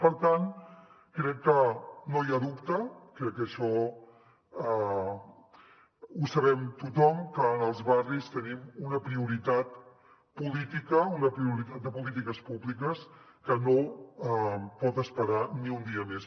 per tant crec que no n’hi ha dubte crec que això ho sabem tothom que en els barris tenim una prioritat política una prioritat de polítiques públiques que no pot esperar ni un dia més